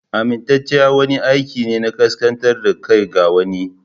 Amintacciya wani aiki ne na kaskantar da kai ga wani.